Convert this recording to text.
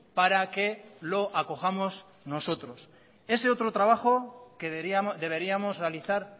para que lo acojamos nosotros ese otro trabajo deberíamos realizar